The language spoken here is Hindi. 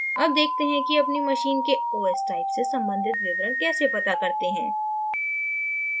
अब देखते हैं कि अपनी machine के os type से संबंधित विवरण कैसे पता करते हैं